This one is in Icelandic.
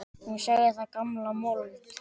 Hún sagði það gamla mold.